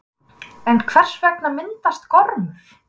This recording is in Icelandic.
En hvers vegna myndast gormur?